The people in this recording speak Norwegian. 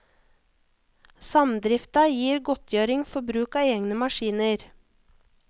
Samdrifta gir godtgjøring for bruk av egne maskiner.